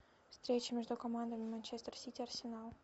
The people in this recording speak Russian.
встреча между командами манчестер сити арсенал